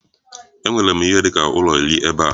Enwere m ihe dị ka ụlọ iri ebe a.